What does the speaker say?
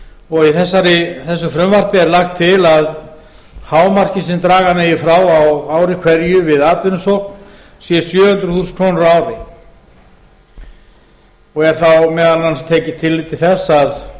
og í þessu frumvarpi er lagt til að hámarkið sem draga megi frá á ári hverju við atvinnusókn sé sjö hundruð þúsund krónur á ári og er þá meðal annars tekið tillit til þess að